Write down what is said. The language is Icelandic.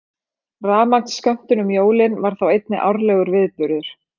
Rafmagnsskömmtun um jólin var þá einnig árlegur viðburður.